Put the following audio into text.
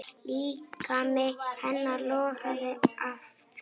Líkami hennar logaði af þrá.